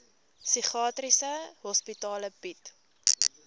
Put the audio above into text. psigiatriese hospitale bied